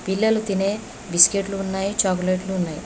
పిల్లలు తినే బిస్కెట్లు ఉన్నాయి చాక్లెట్లు ఉన్నాయి.